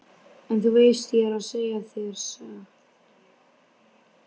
En þú veist ég er að segja þér satt.